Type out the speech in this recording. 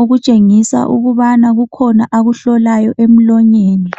okutshengisa ukuba kukhona akuhlolayo emlonyeni.